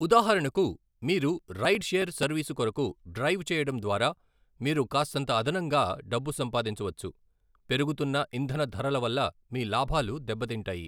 ఉదాహరణకు, మీరు ride share service కొరకు డ్రైవ్ చేయడం ద్వారా మీరు కాస్తంత అదనంగా డబ్బు సంపాదించవచ్చు, పెరుగుతున్న ఇంధన ధరల వల్ల మీ లాభాలు దెబ్బతింటాయి.